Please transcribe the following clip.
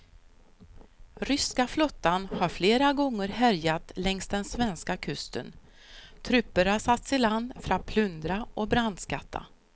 Ryska flottan har flera gånger härjat längs den svenska kusten, trupper har satts i land för att plundra och brandskatta.